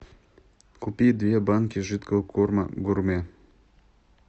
купи две банки жидкого корма гурме